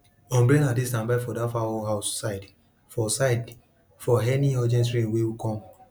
umbrella dey standby for dat fowl house side for side for any urgent rain wey come